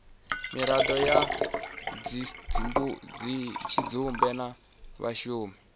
miraḓo ya tshidzumbe na vhashumi